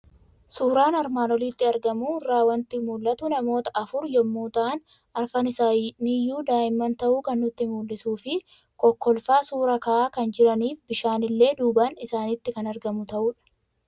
Suuraa armaan olitti argamu irraa waanti mul'atu; namoota afur yommuu ta'an, arfan isaaniyyuu daa'immaan ta'uu kan nutti mul'isufi kokkolfaa suuraa ka'aa kan jiranif bishaan illee duubaan isaanitti kan argamu ta'udha.